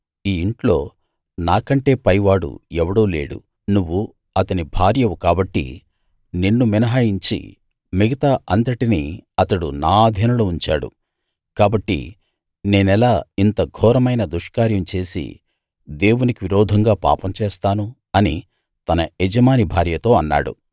ఈ ఇంట్లో నాకంటే పైవాడు ఎవడూ లేడు నువ్వు అతని భార్యవు కాబట్టి నిన్ను మినహాయించి మిగతా అంతటినీ అతడు నా అధీనంలో ఉంచాడు కాబట్టి నేనెలా ఇంత ఘోరమైన దుష్కార్యం చేసి దేవునికి విరోధంగా పాపం చేస్తాను అని తన యజమాని భార్యతో అన్నాడు